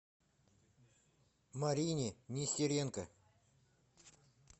марине нестеренко